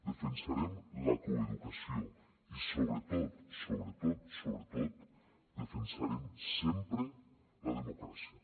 defensarem la coeducació i sobretot sobretot sobretot defensarem sempre la democràcia